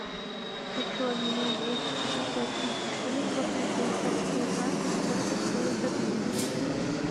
хочу обменять двести пятьдесят тысяч шиллингов на швейцарские франки сколько стоит обмен